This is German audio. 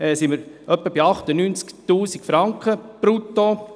Wir sind bei etwa 98 000 Franken brutto.